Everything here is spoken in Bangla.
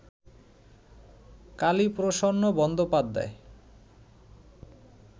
কালীপ্রসন্ন বন্দ্যোপাধ্যায়